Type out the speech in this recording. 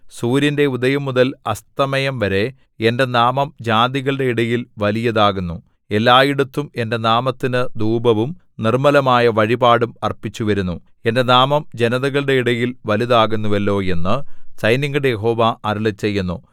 സൂര്യന്റെ ഉദയംമുതൽ അസ്തമയംവരെ എന്റെ നാമം ജാതികളുടെ ഇടയിൽ വലിയതാകുന്നു എല്ലായിടത്തും എന്റെ നാമത്തിന് ധൂപവും നിർമ്മലമായ വഴിപാടും അർപ്പിച്ചുവരുന്നു എന്റെ നാമം ജനതകളുടെ ഇടയിൽ വലുതാകുന്നുവല്ലോ എന്നു സൈന്യങ്ങളുടെ യഹോവ അരുളിച്ചെയ്യുന്നു